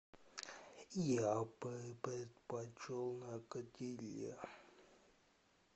я бы предпочел на гриле